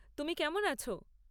তুমি কেমন আছ?